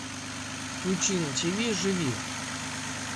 включи на тиви живи